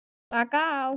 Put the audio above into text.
Slaka á?